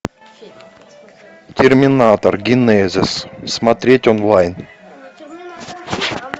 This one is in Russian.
терминатор генезис смотреть онлайн